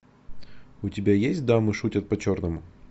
у тебя есть дамы шутят по черному